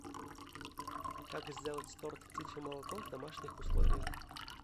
как сделать торт птичье молоко в домашних условиях